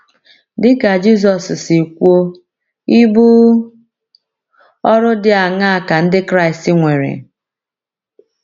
Dị ka Jizọs si kwuo, ibu ọrụ dị aṅaa ka Ndị Kraịst nwere?